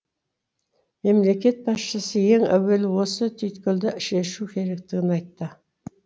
мемлекет басшысы ең әуелі осы түйткілді шешу керектігін айтты